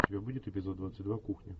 у тебя будет эпизод двадцать два кухня